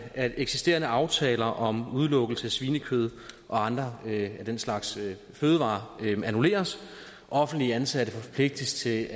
at eksisterende aftaler om udelukkelse af svinekød og andre af den slags fødevarer annulleres offentligt ansatte forpligtes til